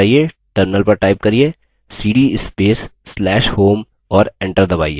cd space/slash home और enter दबाइए